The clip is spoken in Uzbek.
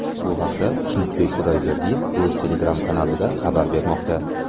Bu haqda Xushnudbek Xudayberdiyev o‘z Telegram-kanalida xabar bermoqda .